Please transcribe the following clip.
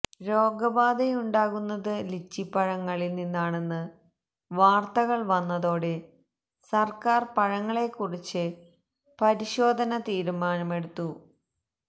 രോഗബാധയുണ്ടാകുന്നത് ലിച്ചിപ്പഴങ്ങളില് നിന്നാണെന്ന് വാർത്തകൾ വന്നതോടെ സര്ക്കാര് പഴങ്ങളെക്കുറിച്ച് പരിശോധന തീരുമാനമെടുത്തു